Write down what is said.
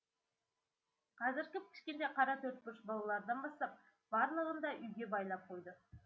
қазір кіп кішкентай қара төртбұрыш балалардан бастап барлығын да үйге байлап қойды